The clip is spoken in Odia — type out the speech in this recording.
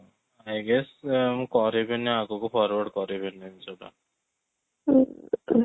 ହଁ I guess ମୁ କରିବିନି ଆଗକୁ forward କରିବିନି ସେଟା